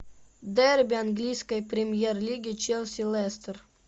дерби английской премьер лиги челси лестер